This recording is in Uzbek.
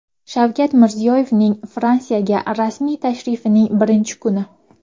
Shavkat Mirziyoyevning Fransiyaga rasmiy tashrifining birinchi kuni .